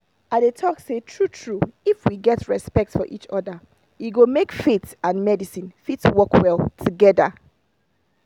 i dey talk say true true if we get respect for each other e go make faith and medicine fit work well together.